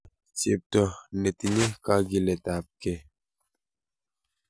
Chepto netinye kagiletab gee.